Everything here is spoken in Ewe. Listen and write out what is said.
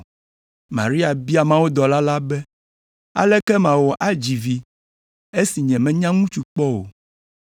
Maria bia mawudɔla la be, “Aleke mawɔ adzi vi esi nyemenya ŋutsu kpɔ o.”